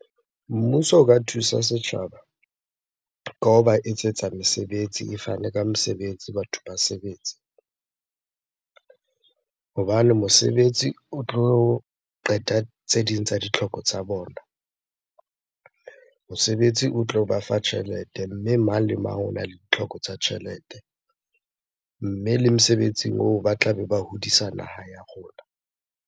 Mmuso o ka thusa setjhaba ka hoba etsetsa mesebetsi, e fane ka mesebetsi, batho ba sebetse. Hobane mosebetsi o tlo qeta tse ding tsa ditlhoko tsa bona. Mosebetsi o tlo ba fa tjhelete, mme mang le mang ona le ditlhoko tsa tjhelete. Mme le mesebetsing oo ba tlabe ba hodisa naha ya rona.